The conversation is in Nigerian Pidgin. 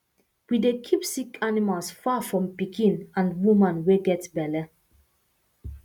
we dey keep sick animals far from pikin and woman wey get belle